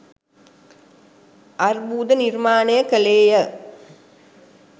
අර්බුද නිර්මාණය කළේය.